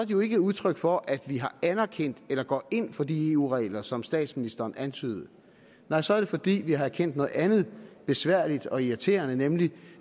jo ikke udtryk for at vi har anerkendt eller går ind for de eu regler som statsministeren antydede nej så er det fordi vi har erkendt noget andet besværligt og irriterende nemlig